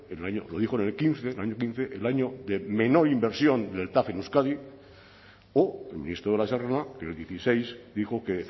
lo dijo en el quince dos mil quince el año de menor inversión del tav en euskadi o el ministro de la serna que en el dieciséis dijo que